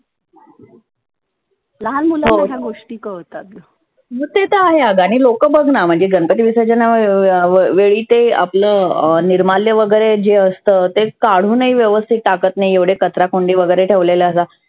लहान मुलांना ह्या गोष्टी कळतात. ते तर आहे आग आणि लोक बघना म्हणजे गणपती विसर्जन व वेळी आपल निर्माल्य वगैरे जे असतं ते काढुन ही व्यवस्थीत टाकत नाहीत. एवढ्या कचराकुंडी वगैरे ठेवलेल्या असतात.